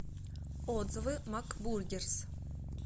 отзывы макбургерс